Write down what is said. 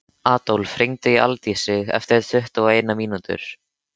Adólf, hringdu í Aldísi eftir tuttugu og eina mínútur.